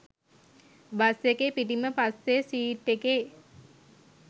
bus එකේ පිටිම පස්සෙ සීට් එකේ